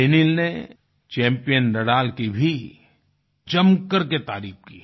Daniil ने champion Nadal की भी जमकर के तारीफ की